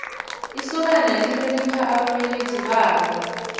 isokana lihlonipha ababelethi balo